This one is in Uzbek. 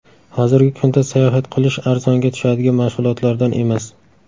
Hozirgi kunda sayohat qilish arzonga tushadigan mashg‘ulotlardan emas.